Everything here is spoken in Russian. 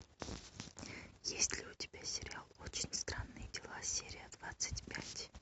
есть ли у тебя сериал очень странные дела серия двадцать пять